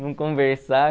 Vamos conversar?